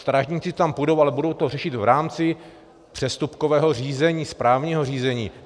Strážníci tam půjdou, ale budou to řešit v rámci přestupkového řízení, správního řízení.